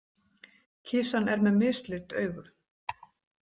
Kisan er með mislit augu.